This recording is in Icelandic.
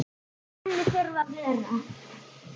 Í henni þurfa að vera